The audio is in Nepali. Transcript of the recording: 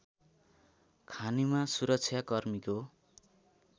खानीमा सुरक्षाकर्मीको